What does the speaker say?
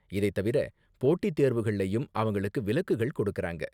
இதைத்தவிர, போட்டி தேர்வுகள்லயும் அவங்களுக்கு விலக்குகள் கொடுக்கறாங்க.